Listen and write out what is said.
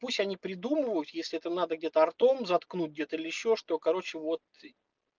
пусть они придумывают если это надо где-то ртом заткнуть где-то или ещё что короче вот